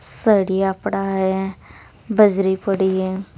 सरिया पड़ा है बजरी पड़ी है।